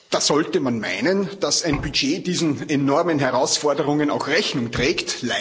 Da sollte man meinen, dass ein Budget diesen enormen Herausforderungen auch Rechnung trägt.